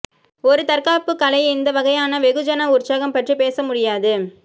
ஒரு தற்காப்பு கலை இந்த வகையான வெகுஜன உற்சாகம் பற்றி பேச முடியாது